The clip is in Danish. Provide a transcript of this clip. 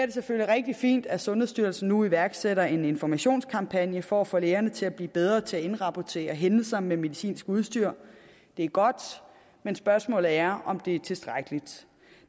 det selvfølgelig rigtig fint at sundhedsstyrelsen nu iværksætter en informationskampagne for at få lægerne til at blive bedre til at indrapportere hændelser med medicinsk udstyr det er godt men spørgsmålet er om det er tilstrækkeligt